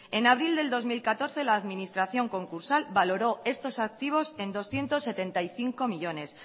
en abril del dos mil catorce la administración concursal valoró estos activos en doscientos setenta y cinco millónes